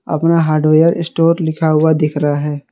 अपना hardware store लिखा हुआ दिख रहा है।